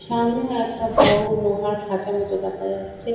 সামনে একটা বড়ো লোহার খাঁচা মতো দেখা যাচ্ছে।